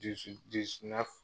dizi dizi nɛfu